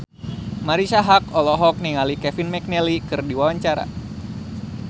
Marisa Haque olohok ningali Kevin McNally keur diwawancara